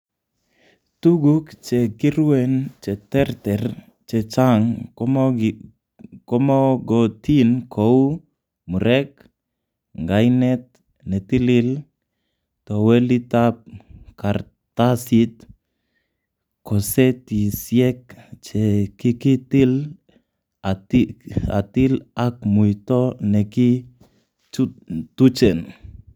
Tuguk che kiruen cheterter chechang komogotin kou; murek, ngainet netilil, towelitab kartasit, kosetisiek che kikitil a til ak muito nekituchen.